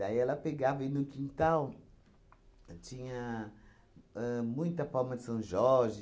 ela pegava aí no quintal, tinha ahn muita palma de São Jorge,